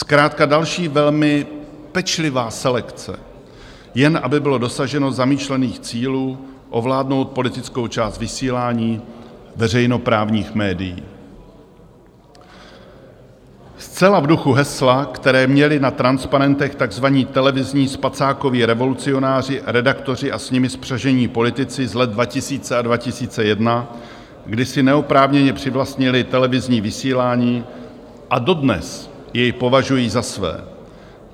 Zkrátka další velmi pečlivá selekce, jen aby bylo dosaženo zamýšlených cílů, ovládnout politickou část vysílání veřejnoprávních médií zcela v duchu hesla, které měli na transparentech takzvaní televizní spacákoví revolucionáři, redaktoři a s nimi spřažení politici z let 2000 a 2001, kdy si neoprávněně přivlastnili televizní vysílání a dodnes jej považují za své.